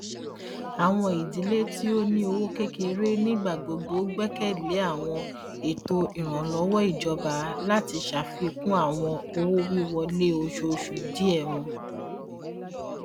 awọn idile ti o ni owo kekere nigbagbogbo gbẹkẹle awọn eto iranlọwọ ijọba lati ṣafikun awọn owowiwọle oṣooṣu diẹ wọn